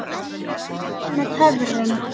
Allt gerist með töfrum.